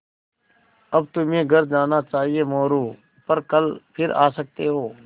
अब तुम्हें घर जाना चाहिये मोरू पर कल फिर आ सकते हो